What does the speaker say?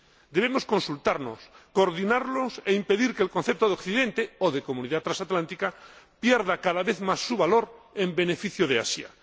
Debemos consultarnos, coordinarnos e impedir que el concepto de Occidente o de comunidad transatlántica pierda cada vez más su valor en beneficio de Asia.